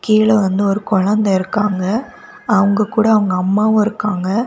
கீழே வந்து ஒரு குழந்த இருக்காங்க அவங்க கூட அவங்க அம்மாவும் இருக்காங்க.